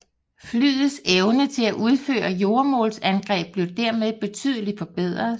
Flyets evne til at udføre jordmålsangreb blev dermed betydeligt forbedret